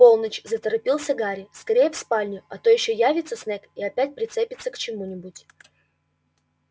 полночь заторопился гарри скорее в спальню а то ещё явится снегг и опять прицепится к чему-нибудь